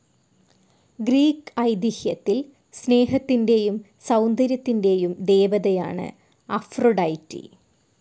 Greek ഐതീഹ്യത്തിൽ സ്നേഹത്തിൻ്റെയും സൗന്ദര്യത്തിൻ്റെയും ദേവതയാണ് അഫ്രൊഡൈറ്റി.